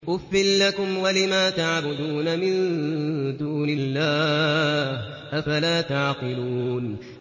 أُفٍّ لَّكُمْ وَلِمَا تَعْبُدُونَ مِن دُونِ اللَّهِ ۖ أَفَلَا تَعْقِلُونَ